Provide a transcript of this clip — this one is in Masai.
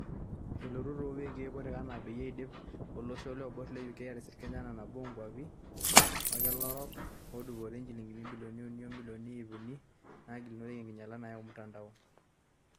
Elotu too wiki kutik enaa peyie eidip olosho olooibor (UK) aatisir Kenya enaa nabo oo nkuapi olkila orok naadupore njilingini ibilioni uni o milioni iip uni naagilunoreki enginyiala nayau mutandao.